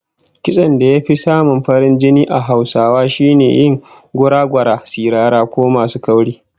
Kitson da ya fi farin jini a Hausawa shine na yin gora-gora, sirara ko masu kauri